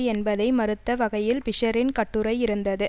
என்பதை மறுத்த வகையில் பிஷ்ஷரின் கட்டுரை இருந்தது